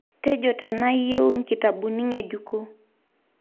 Tejo taanaa iyieu nkitabuni ngejuko